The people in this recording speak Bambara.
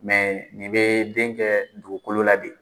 Mɛ nin bɛ den kɛ dugukolo la de.